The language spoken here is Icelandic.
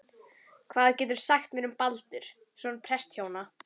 Hvað geturðu sagt mér um Baldur, son prestshjónanna?